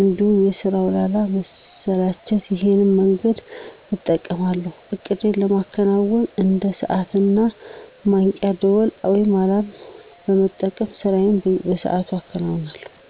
እንዲሁም በስራው ላለ መሰላቸት ይሄን መንገድ እጠቀማለሁ። እቅዴን ለማከናወን እንደ ሰዓት እና ማንቂያ ደውል (አላርም) በመጠቀም ስራዬን በሰአቱ አከናውነለሁ።